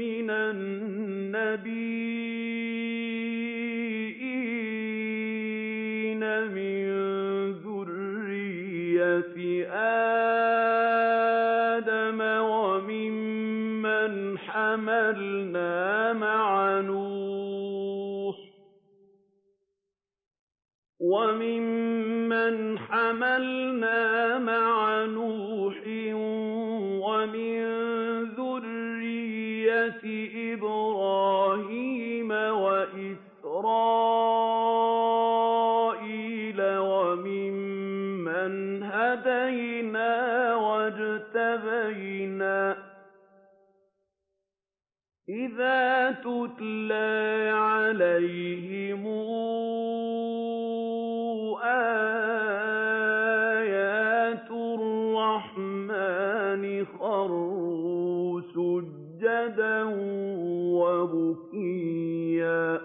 مِّنَ النَّبِيِّينَ مِن ذُرِّيَّةِ آدَمَ وَمِمَّنْ حَمَلْنَا مَعَ نُوحٍ وَمِن ذُرِّيَّةِ إِبْرَاهِيمَ وَإِسْرَائِيلَ وَمِمَّنْ هَدَيْنَا وَاجْتَبَيْنَا ۚ إِذَا تُتْلَىٰ عَلَيْهِمْ آيَاتُ الرَّحْمَٰنِ خَرُّوا سُجَّدًا وَبُكِيًّا ۩